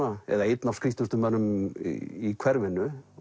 eða einn af skrýtnustu mönnunum í hverfinu